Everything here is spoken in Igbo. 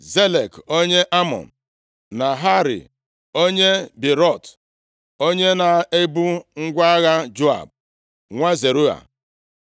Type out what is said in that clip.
Zelek onye Amọn, Naharai onye Beerọt, onye na-ebu ngwa agha Joab, nwa Zeruaya,